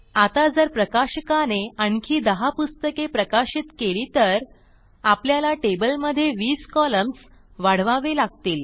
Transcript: आता जर प्रकाशकाने आणखी दहा पुस्तके प्रकाशित केली तर आपल्याला टेबलमधे वीस कॉलम्स वाढवावे लागतील